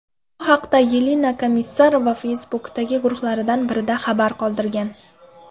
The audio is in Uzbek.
Bu haqda Yelena Komissarova Facebook’dagi guruhlardan birida xabar qoldirgan .